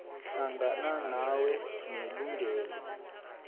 hlangana nawo nelungelo